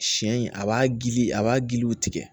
Siɲɛ in a b'a gili a b'a giliw tigɛ